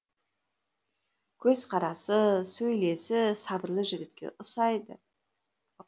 көз қарасы сөйлесі сабырлы жігітке ұсайды